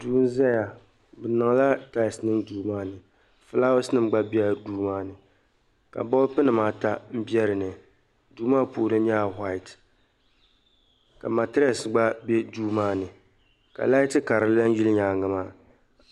Duu n-zaya be niŋla "tiles" niŋ duu maa puuni fulaawasnima gba bela duu maa ni ka "bulb"nima ata be dinni duu maa puuni nyɛla"white" ka "matress" gba be duu maa ni ka laati karili gba yili nyaaŋa maa.